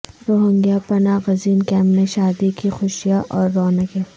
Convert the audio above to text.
Rohingya پناہ گزین camp میں شادی کی خوشیاں اور رونقیں